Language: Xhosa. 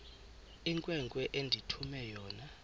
inkwenkwe endithume yona